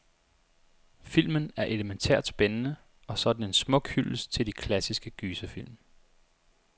Filmen er elemæntært spændende, og så er den en smuk hyldest til de klassiske gyserfilm.